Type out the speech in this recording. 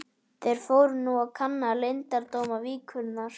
Þeir fóru nú að kanna leyndardóma víkurinnar.